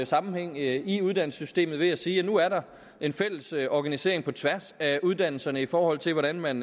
sammenhæng i uddannelsessystemet ved at sige at nu er der en fælles organisering på tværs af uddannelserne i forhold til hvordan man